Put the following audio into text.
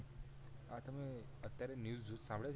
તમે અત્યારે ન્યુસ સાંભળીયા છે